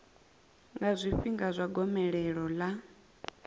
nga zwifhinga zwa gomelelo ḽa